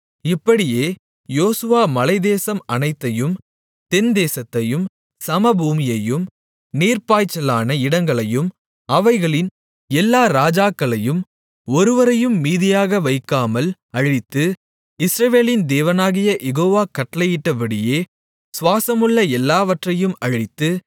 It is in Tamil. இப்படியே யோசுவா மலைத்தேசம் அனைத்தையும் தென்தேசத்தையும் சமபூமியையும் நீர்ப்பாய்ச்சலான இடங்களையும் அவைகளின் எல்லா ராஜாக்களையும் ஒருவரையும் மீதியாக வைக்காமல் அழித்து இஸ்ரவேலின் தேவனாகிய யெகோவா கட்டளையிட்டபடியே சுவாசமுள்ள எல்லாவற்றையும் அழித்து